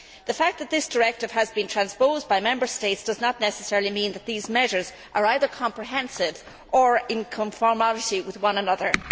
The fact that this directive has been transposed by Member States does not necessarily mean that these measures are either comprehensive or in conformity with one another.